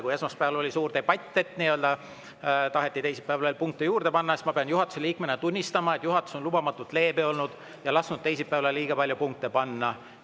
Kui esmaspäeval oli suur debatt, et taheti teisipäevaks punkte juurde panna, siis ma pean juhatuse liikmena tunnistama, et juhatus on lubamatult leebe olnud ja lasknud teisipäevaks liiga palju punkte panna.